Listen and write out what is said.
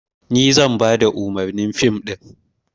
Ni zan bada umarnin fim ɗin.